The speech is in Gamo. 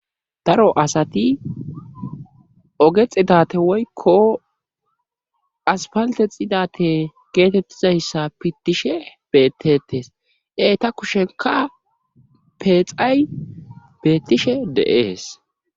daro asati oge xidate woykko aspalte xidate geetettizayssa pittishe bettetes eta kushenka peexay beettishe de'ees